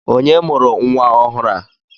Onye mụrụ nwa ọhụrụ a?